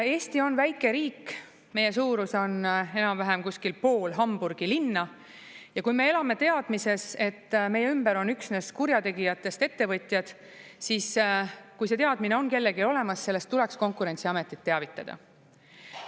Eesti on väike riik, meie suurus on enam-vähem kuskil pool Hamburgi linna, ja kui me elame teadmises, et meie ümber on üksnes kurjategijatest ettevõtjad, siis kui see teadmine on kellelgi olemas, sellest tuleks Konkurentsiametit teavitada.